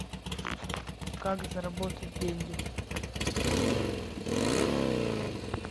как заработать деньги